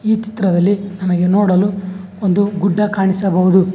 ಈ ಚಿತ್ರದಲ್ಲಿ ನಮಗೆ ನೋಡಲು ಒಂದು ಗುಡ್ಡ ಕಾಣಿಸಬಹುದು.